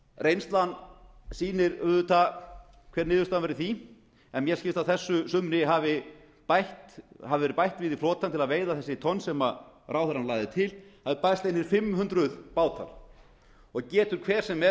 reynslan sýnir auðvitað hver niðurstaðan verður í því en mér skilst að á þessu sumri hafi verið bætt við í flotann til að veiða þessi tonn sem ráðherrann lagði til það er bætt við einum fimm hundruð bátum og getur hver sem er